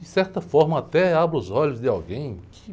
De certa forma, até abra os olhos de alguém.